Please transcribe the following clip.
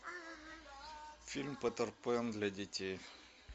фильм питер пэн для детей